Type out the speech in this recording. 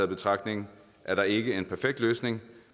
betragtning er der ikke en perfekt løsning